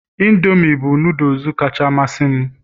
indomie bụ noodles kacha amasị m